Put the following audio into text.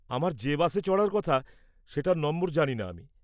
আমার যে বাসে চড়ার কথা সেটার নম্বর জানি না আমি।